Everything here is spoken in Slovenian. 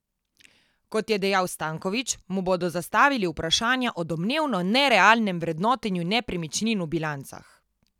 Kot je dejal Stanković, mu bodo zastavili vprašanja o domnevno nerealnem vrednotenju nepremičnin v bilancah.